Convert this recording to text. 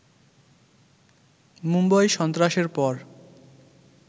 মুম্বই সন্ত্রাসের পর